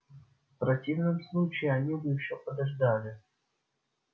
в противном случае они бы ещё подождали